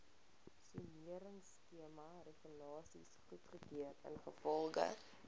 soneringskemaregulasies goedgekeur ingevolge